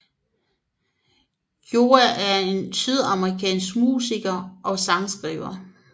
Yoav er en sydafrikandsk musiker og sangskriver